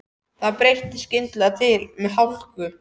Það breytti skyndilega til með hláku.